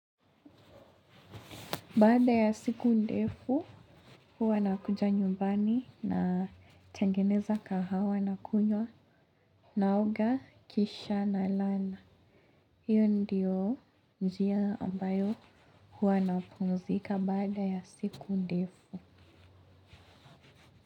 Baada ya siku ndefu, huwa nakuja nyumbani natengeneza kahawa na kunywa naoga kisha nalala. Hiyo ndiyo njia ambayo huwa napumzika baada ya siku ndefu.